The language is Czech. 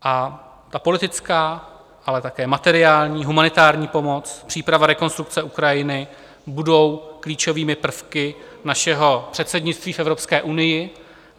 A ta politická, ale také materiální, humanitární pomoc, příprava rekonstrukce Ukrajiny budou klíčovými prvky našeho předsednictví v Evropské unii.